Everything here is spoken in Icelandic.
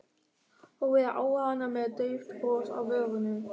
Horfði á hana með dauft bros á vörunum.